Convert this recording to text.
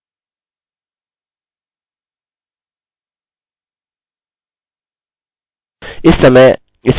अतः समझ गया हूँ कि मुझे क्या करने की आवश्यकता है यहाँ से md5 फंक्शन हटाएँ